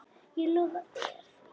Ég lofa þér því.